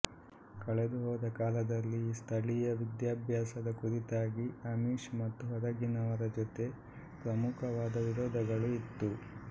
ಕಳೆದುಹೋದ ಕಾಲದಲ್ಲಿ ಈ ಸ್ಥಳೀಯ ವಿದ್ಯಾಭ್ಯಾಸದ ಕುರಿತಾಗಿ ಅಮಿಶ್ ಮತ್ತು ಹೊರಗಿನವರ ಜೊತೆ ಪ್ರಮುಖವಾದ ವಿರೋಧಗಳು ಇತ್ತು